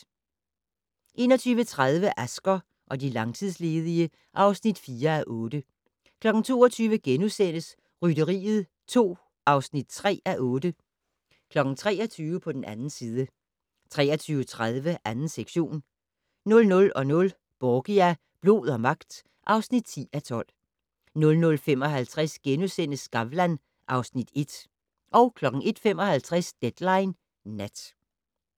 21:30: Asger og de langtidsledige (4:8) 22:00: Rytteriet 2 (3:8)* 23:00: På den 2. side 23:30: 2. sektion 00:00: Borgia - blod og magt (10:12) 00:55: Skavlan (Afs. 1)* 01:55: Deadline Nat